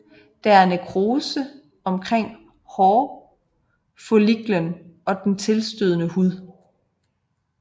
Der er nekrose omkring hårfolliklen og den tilstødende hud